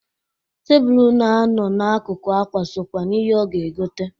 Tebulu na-anọ na-akụkụ akwa sokwa n'ihe ọ ga-egota.